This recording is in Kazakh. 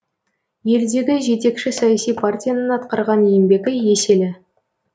елдегі жетекші саяси партияның атқарған еңбегі еселі